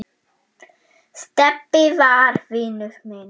Stebbi var vinur minn.